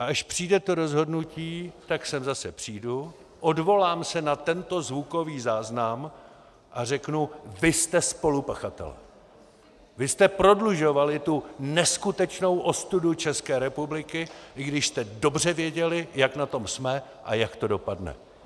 A až přijde to rozhodnutí, tak sem zase přijdu, odvolám se na tento zvukový záznam a řeknu: Vy jste spolupachatelé, vy jste prodlužovali tu neskutečnou ostudu České republiky, i když jste dobře věděli, jak na tom jsme a jak to dopadne.